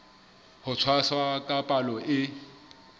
ho tshwasa ka palo e